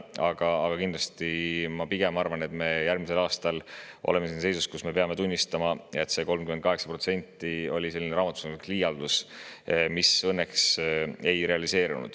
Aga ma kindlasti pigem arvan, et me järgmisel aastal oleme siin seisus, kus me peame tunnistama, et see 38% oli selline raamatupidamislik liialdus, mis õnneks ei realiseerunud.